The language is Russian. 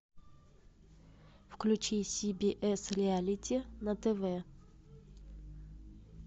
включи си би эс реалити на тв